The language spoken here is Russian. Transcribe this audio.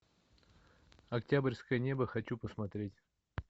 октябрьское небо хочу посмотреть